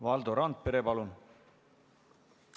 Valdo Randpere, palun!